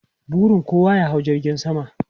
Burin kowa ya hau jirgin sama.